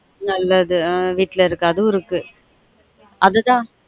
நல்லது ஆன் வீட்ல இருக்கு அதுவும் இருக்கு அது தான்